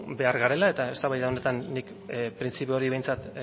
behar garela eta eztabaida honetan nik printzipio hori behintzat